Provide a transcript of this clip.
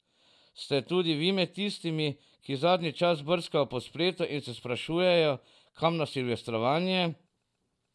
Ste tudi vi med tistimi, ki zadnji čas brskajo po spletu in se sprašujejo, kam na silvestrovanje?